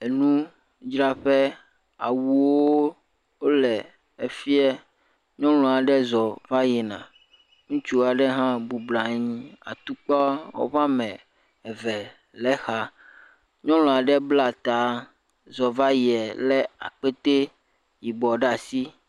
Enu dzraƒe, awuo le efiɛ. Nyɔnu aɖe zɔ vayina ŋutsu aɖe hã bubɔnɔ anyi atikpa woƒe wome eve le exa. Nyɔnu aɖe bla ta zɔvayie le akpete yibɔ ɖ'asi.